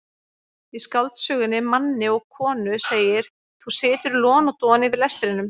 Í skáldsögunni Manni og konu segir: þú situr lon og don yfir lestrinum.